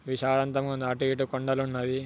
విశాలంతగా ఉంది అటు ఇటు కొండలు వున్నవి.